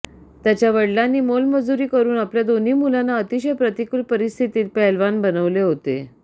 त्याच्या वडीलांनी मोलमजुरी करुन आपल्या दोन्ही मुलांना अतिशय प्रतिकूल परिस्थितीत पैलवान बनवलॆ होते